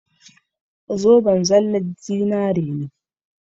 Zoben zallan zinari ne.